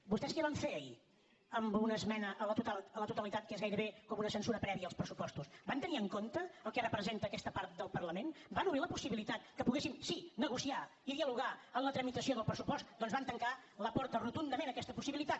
vostès què van fer ahir amb una esmena a la totalitat que és gairebé com una censura prèvia als pressupostos van tenir en compte el que representa aquesta part del parlament van obrir la possibilitat que poguéssim sí negociar i dialogar en la tramitació del pressupost doncs van tancar la porta rotundament a aquesta possibilitat